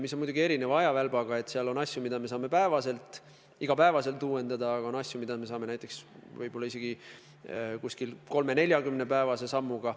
Need on muidugi erineva ajavälbaga: on asju, mida me saame iga päev uuendada, ja on asju, mida me saame jälgida isegi 30–40-päevase sammuga.